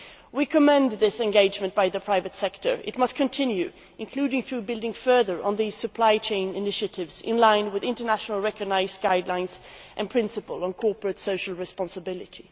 We commend this engagement by the private sector. It must continue, including through building further on the supply chain initiatives in line with internationally recognised guidelines and principles on corporate social responsibility.